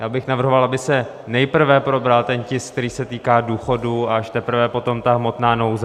Já bych navrhoval, aby se nejprve probral ten tisk, který se týká důchodů, a až teprve potom ta hmotná nouze.